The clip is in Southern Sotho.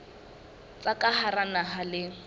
tsa ka hara naha le